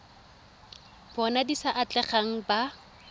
bona di sa atlegang ba